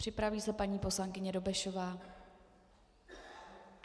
Připraví se paní poslankyně Dobešová.